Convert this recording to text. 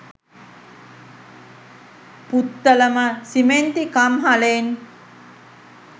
පුත්තලම සිමෙන්ති කම්හලෙන්.